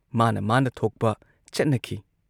ꯃꯥꯅ ꯃꯥꯅ ꯊꯣꯛꯄ ꯆꯠꯅꯈꯤ ꯫